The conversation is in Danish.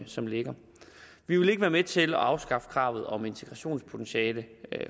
som ligger vi vil ikke være med til at afskaffe kravet om integrationspotentiale